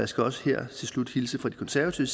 skal også her til slut hilse fra de konservative